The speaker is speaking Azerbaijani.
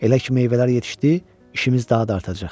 Elə ki meyvələr yetişdi, işimiz daha da artacaq.